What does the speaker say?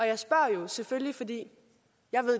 jeg spørger jo selvfølgelig fordi jeg